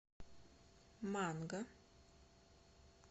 манго